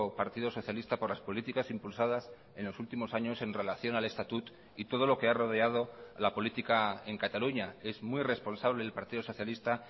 partido socialista por las políticas impulsadas en los últimos años en relación al estatut y todo lo que ha rodeado la política en cataluña es muy responsable el partido socialista